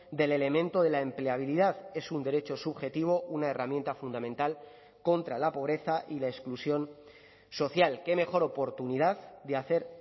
del elemento de la empleabilidad es un derecho subjetivo una herramienta fundamental contra la pobreza y la exclusión social qué mejor oportunidad de hacer